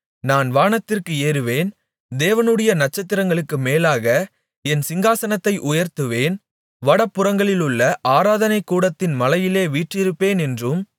நான் வானத்திற்கு ஏறுவேன் தேவனுடைய நட்சத்திரங்களுக்கு மேலாக என் சிங்காசனத்தை உயர்த்துவேன் வடபுறங்களிலுள்ள ஆராதனைக் கூட்டத்தின் மலையிலே வீற்றிருப்பேன் என்றும்